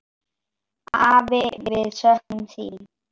Afi, við söknum þín.